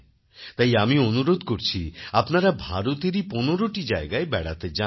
তাই আমি অনুরোধ করছি আপনারা ভারতেরই পনেরোটি জায়গায় বেড়াতে যান